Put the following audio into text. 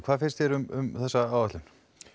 hvað finnst þér um þessa áætlun